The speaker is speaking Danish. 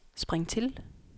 spring til